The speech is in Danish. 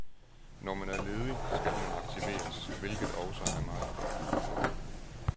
Når man er ledig, skal man aktiveres, hvilket også er meget godt.